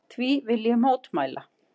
Því vil ég mótmæla!